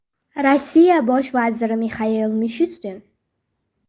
Rossiya bosh vaziri Mixail Mishustin.